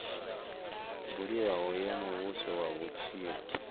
buliwaho ya muvhuso ya vhutshilo